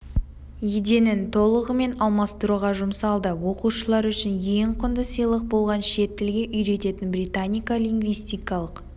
еденін толығымен алмастыруға жұмсалды оқушылар үшін ең құнды сыйлық болған шет тілге үйрететін британика лингвистикалық